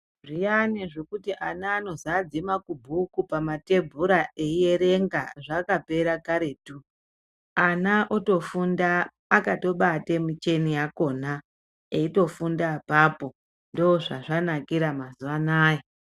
Zviyani zvekuti ana anozadze makubhuku pamathebhura eierenga zvakapera karetu. Ana otofunda akatobate micheni yakhona, eitofunda apapo, ndozvazvanakira mazuwa anaya.